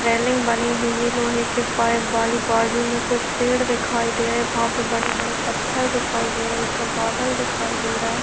railing बनी हुई है लोहे के पाइप वाली बाजु में कुछ पेड़ दिखाई दे रहे है वहाँ पे बड़े-बड़े पत्थर दिखाई दे रहे हैऊपर बादल दिखाई दे रहे है--